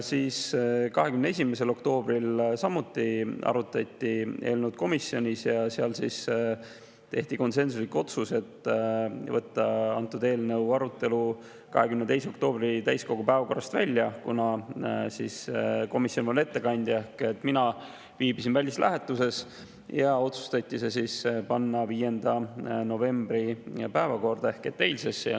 21. oktoobril arutati komisjonis samuti seda eelnõu ja siis tehti konsensuslik otsus võtta antud eelnõu arutelu 22. oktoobri täiskogu päevakorrast välja, kuna komisjoni ettekandja viibis ehk mina viibisin välislähetuses, ja otsustati panna see 5. novembri ehk eilsesse päevakorda.